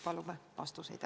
Palume vastuseid!